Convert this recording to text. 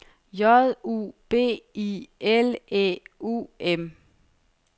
J U B I L Æ U M